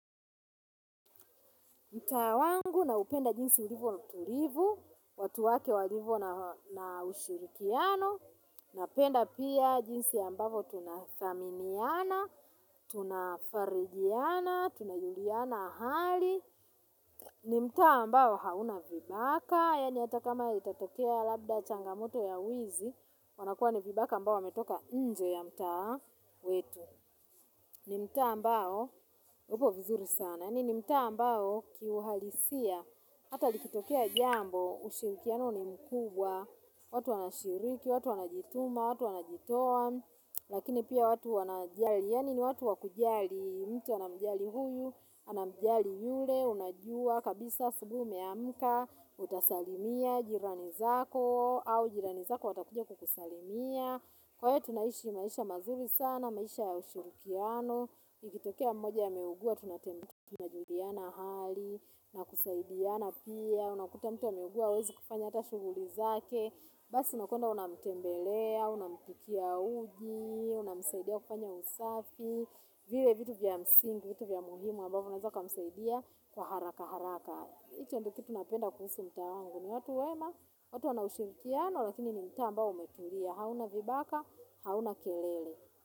Mtaa wangu naupenda jinsi ulivo mtulivu, watu wake walivo na ushirikiano, napenda pia jinsi ambavyo tunathaminiana, tunafarijiana, tunajuliana hali. Ni mtaa ambao hauna vibaka, yani hata kama itatokea labda changamoto ya wizi, wanakuwa ni vibaka ambao wametoka nje ya mtaa wetu. Ni mtaa ambao, upo vizuri sana, ni mtaa ambao kiuhalisia, hata likitokea jambo, ushirikiano ni mkubwa, watu wanashiriki, watu wanajituma, watu wanajitoa, lakini pia watu wanajali, yani ni watu wakujali, mtu anamjali huyu, anamjali yule, unajua, kabisa asubuhi umeamka, utasalimia, jirani zako, au jirani zako watakuja kukusalimia, kwa hiyo tunaishi maisha mazuri sana, maisha ya ushirikiano, ikitokea mmoja ameugua, tunajuliana hali, na kusaidiana pia, unakuta mtu ameugua hawezi kufanya hata shughuli zake, basi unakwenda unamtembelea, unampikia uji, unamsaidia kufanya usafi, vile vitu vya msingi, vitu vya muhimu, ambavyo unaweza ukamsaidia kwa haraka haraka. Icho ndo kitu napenda kuhusu mtaa wangu ni watu wema. Watu wana ushirikiano lakini ni mtaa ambao umetulia. Hauna vibaka, hauna kelele.